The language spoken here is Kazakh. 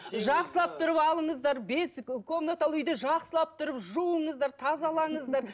жақсылап тұрып алыңыздар бес комнаталы үйді жақсылап тұрып жуыңыздар тазалаңыздар